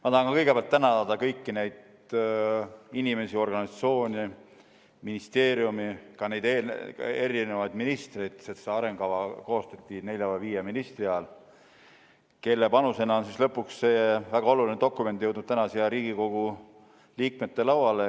Ma tahan kõigepealt tänada kõiki neid inimesi ja organisatsioone, ministeeriumi, ka neid erinevaid ministreid, sest see arengukava koostati nelja või viie ministri ajal, kelle panusena on lõpuks see väga oluline dokument jõudnud täna siia Riigikogu liikmete lauale.